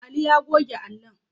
Ali ya goge allon